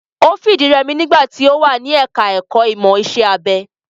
Ó fìdírẹmi nígbà tí ó wà ní ẹka ẹ̀kọ́ ìmọ̀ iṣẹ́ abẹ.